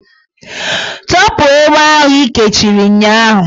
Tọpụ egbe ahụ ị kechiri ụnyahụ!